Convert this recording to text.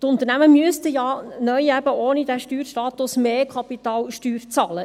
Die Unternehmen müssten ja ohne diesen Steuerstatus mehr Kapitalsteuer bezahlen.